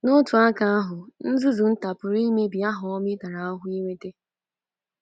N’otu aka ahụ, “nzuzu nta” pụrụ imebi aha ọma ị tara ahụhụ inweta.